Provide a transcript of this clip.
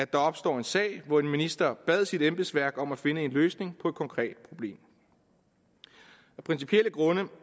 der opstod en sag hvor en minister bad sit embedsværk om at finde en løsning på et konkret problem af principielle grunde